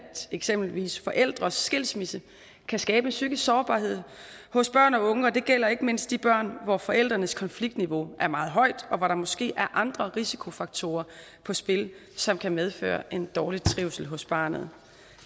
eksempelvis forældres skilsmisse kan skabe psykisk sårbarhed hos børn og unge og det gælder ikke mindst de børn hvor forældrenes konfliktniveau er meget højt og hvor der måske er andre risikofaktorer på spil som kan medføre dårlig trivsel hos barnet